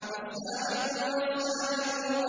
وَالسَّابِقُونَ السَّابِقُونَ